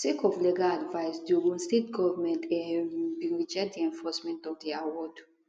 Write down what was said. sake of legal advice di ogun state goment um bin reject di enforcement of di award